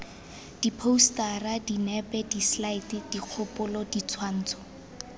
diphousetara dinepe diselaete dikgopolo ditshwantsho